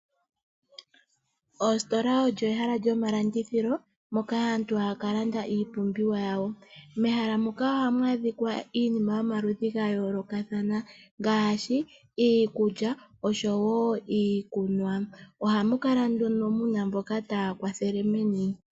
Oostola olyo ehala lyo malandithilo moka aantu haya kalanda iiumbiwa yawo. Mehala muka ohamu a dhika iinima yo maludhi ga yoolokathana ngaashi iikulya oshowo iikunwa. Ohamu kala nduno muna aantu taya kwathele meni.